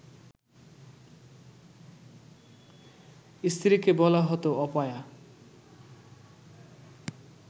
স্ত্রীকে বলা হতো অপয়া